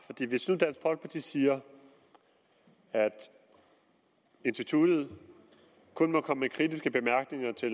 hvis nu dansk folkeparti siger at instituttet kun må komme med kritiske bemærkninger til